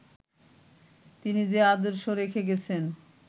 তিনি যে আদর্শ রেখে গেছেন